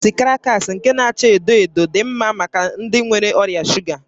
Bisikiiti krakas nke n'acha edo edo dị mma maka ndị nwere ọrịa shuga